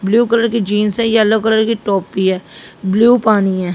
Blue colour की जींस है येलो कलर की टोपी है ब्लू पानी है।